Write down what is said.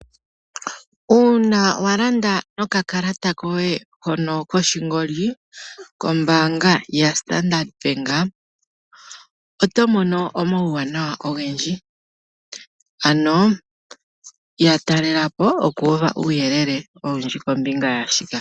Uuna wa landa nokakalata koye hono koshingoli kombanga yaStandard Bank, oto mono omauwanawa ogendji ano ya talelapo okuuva uuyelele owundji kombinga yaashika.